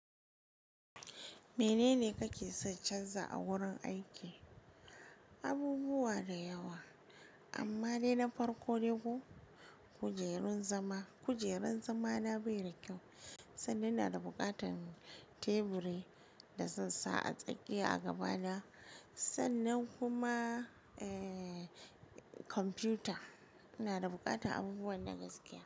Menene kake so canza a wurin aiki? Abubuwa da yawa, amma dai na farko dai ko, kujerun zama. Kujerun zamana bai da kyau, sannan ina da buƙatan teburi da zan sa a tsakiya a gaba na, sannan kuma, ee, kwamfuta, Ina da buƙatan abubuwan nan gaskiya.